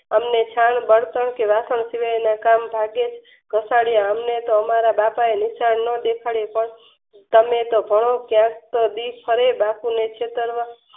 એમને છાણ બળતણ કે વાસણ સિવાયના કામ ભાગ્યેજ અમને તો અમારા બાપા એ નિશાળ ન દેખાડ્યા પણ તમે તો ભણો